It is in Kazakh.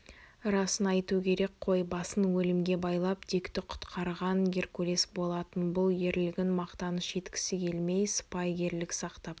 расын айту керек қой басын өлімге байлап дикті құтқарған геркулес болатын бұл ерлігін мақтаныш еткісі келмей сыпайыгерлік сақтап